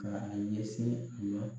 Ka a ɲɛsin